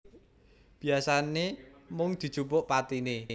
Biyasane mung dijupuk patine